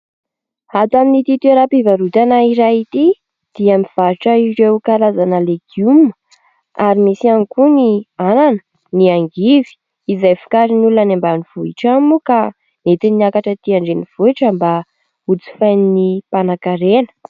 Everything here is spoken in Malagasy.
Ato amin'ity toeram-pivarotana iray ity dia mivarotra ireo karazana legioma ary misy ihany koa ny anana, ny angivy izay vokarin'ny olona any ambanivohitra any moa ka entiny miakatra aty an-drenivohitra mba ho jifain'ny mpanankarena.